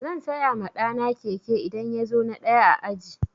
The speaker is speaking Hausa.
Zan saya ma ɗa na keke idan ya zo na ɗaya a aji.